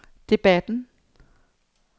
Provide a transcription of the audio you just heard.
debatten